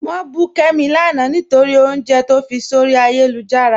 Wọn bù Kẹ́mi láńà nítorí ọ̀unjẹ̀ tó fí sọ̀rí ayélujára.